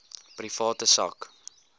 private sak